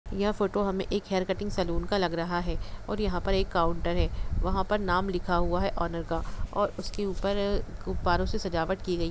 यह फोटो हमें एक हेयर कटिंग सैलून का लग रहा है और यहाँ पर एक काउंटर है वहाँ पर नाम लिखा हुआ है ओनर का और उस के ऊपर गुब्बारों से सजावट की गई --